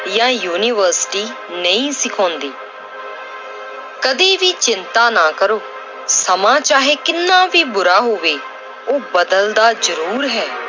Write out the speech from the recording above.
ਜਾਂ university ਨਹੀਂ ਸਿਖਾਉਂਦੀ ਕਦੇ ਵੀ ਚਿੰਤਾ ਨਾ ਕਰੋ ਸਮਾਂ ਚਾਹੇ ਕਿੰਨਾ ਵੀ ਬੁਰਾ ਹੋਵੇ ਉਹ ਬਦਲਦਾ ਜ਼ਰੂਰ ਹੈ।